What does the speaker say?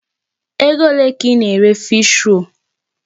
Ego ole ka ị na-ere Fish-roll?